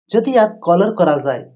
যদি আক কলার করা যায়।